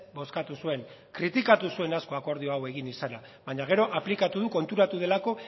bozkatu zuen kritikatu zuen asko akordio hau egin izana baina gero aplikatu du konturatu delako